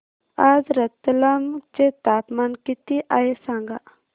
आज रतलाम चे तापमान किती आहे सांगा